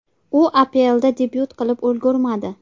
U APLda debyut qilib ulgurmadi.